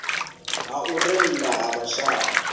ha u rennda ha vhashai